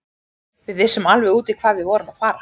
Við vissum alveg út í hvað við vorum að fara.